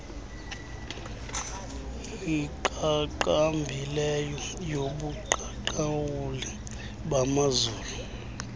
iqaqambileyo yobuqaqawuli bamazulu